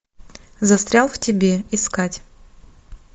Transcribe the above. застрял в тебе искать